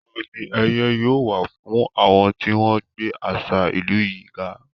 Àmì ẹ̀yẹ yóò wà fún àwọn tí wọ́n gbé àṣà ìlú yìí ga.